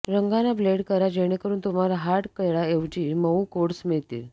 रंगांना ब्लेंड करा जेणेकरुन तुम्हाला हार्ड कडा ऐवजी मऊ कोड्स मिळतील